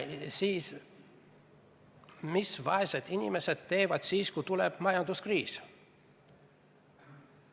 Mida teevad vaesed inimesed siis, kui tuleb majanduskriis?